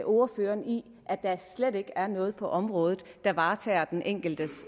ordføreren i at der slet ikke er noget på området der varetager den enkeltes